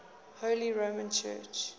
holy roman church